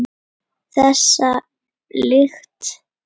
Þessa lykt hefur